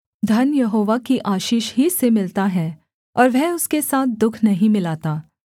धन यहोवा की आशीष ही से मिलता है और वह उसके साथ दुःख नहीं मिलाता